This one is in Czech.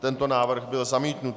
Tento návrh byl zamítnut.